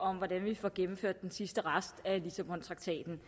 om hvordan vi får gennemført den sidste rest af lissabontraktaten